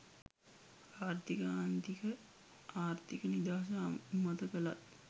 ආර්ථික ආන්තික ආර්ථික නිදහස අනුමත කළත්